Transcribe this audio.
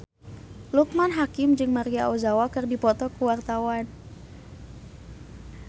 Loekman Hakim jeung Maria Ozawa keur dipoto ku wartawan